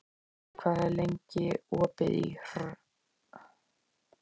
Sörli, hvað er lengi opið í HR?